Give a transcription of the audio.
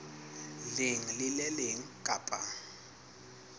leng le le leng kapa